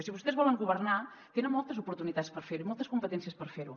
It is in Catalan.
si vostès volen governar tenen moltes oportunitats per fer ho i moltes competències per fer ho